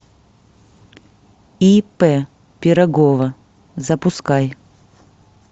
ип пирогова запускай